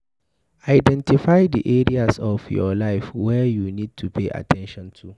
Identify di areas of your life wey you need to pay at ten tion to